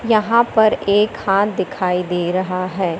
यहां पर एक हाथ दिखाई दे रहा है।